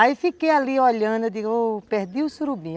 Aí fiquei ali olhando, digo, ô, perdi o surubim.